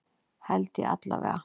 Held ég allavega.